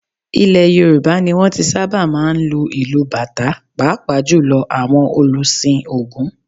Ilẹ̀ Yorùbá ni wọn ti sábà máa ń lu ìlù bàtá pàápàá jù lọ àwọn òlùsìn Ògún.